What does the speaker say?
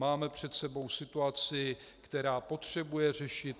Máme před sebou situaci, která potřebuje řešit.